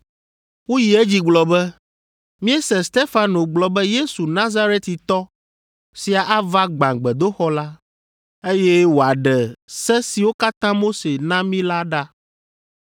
Woyi edzi gblɔ be, “Míese Stefano gblɔ be Yesu Nazaretitɔ sia ava gbã gbedoxɔ la, eye wòaɖe se siwo katã Mose na mí la ɖa.”